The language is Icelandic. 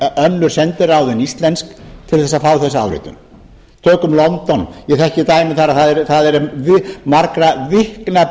önnur sendiráð en íslensk til þess að fá þessa áritun tökum london ég þekki dæmi þar að það er margra vikna